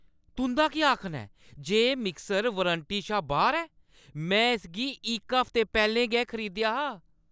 तुंʼदा केह् आखना ऐ जे एह् मिक्सर वारंटी शा बाह्‌र ऐ? में इसगी इक हफ्ता पैह्‌लें गै खरीदेआ हा!